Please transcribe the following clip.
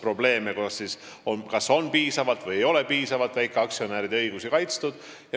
On olnud probleeme, et ei ole piisavalt väikeaktsionäride õigusi kaitstud.